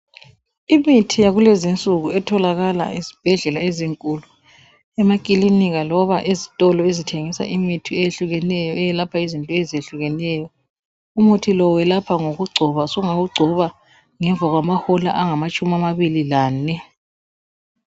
Emithi yakulezinsuku etholakala ezibhedlela ezinkulu emakilinika loba ezitolo ezithengisa imithi eyehlukeneyo eyelapha izinto ezehlukeneyo, umuthi lo welapha ngokugcona sungawugcoba ngemva kwamahola angamatshumi amabili lane.